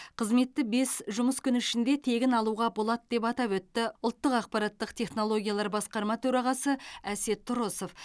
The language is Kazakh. қызметті бес жұмыс күні ішінде тегін алуға болады деп атап өтті ұлттық ақпараттық технологиялар басқарма төрағасы әсет тұрысов